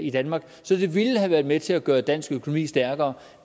i danmark så det ville have været med til at gøre dansk økonomi stærkere